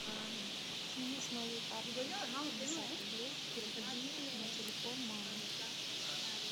сними с моей карты пятьдесят рублей переведи на телефон мамы